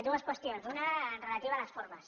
dues qüestions una relativa a les formes